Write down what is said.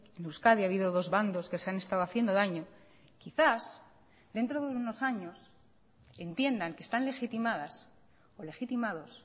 en euskadi ha habido dos bandos que se han estado haciendo daño quizás dentro de unos años entiendan que están legitimadas o legitimados